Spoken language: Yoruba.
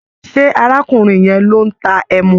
Ṣé arákùnrin yẹn ló ń ta ẹmu?